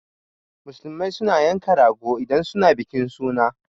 Musulmai suna yanka rago idan suna bikin suna